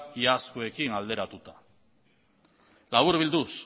iazkoekin alderatuta laburbilduz